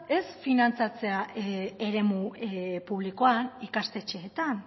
ez finantzatzea eremu publikoan ikastetxeetan